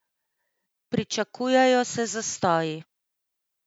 Pričakujejo se zastoji.